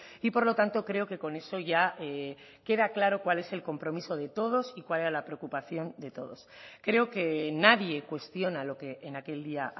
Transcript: y por lo tanto creo que con eso ya queda claro cuál es el compromiso de todos y cuál era la preocupación de todos creo que nadie cuestiona lo que en aquel día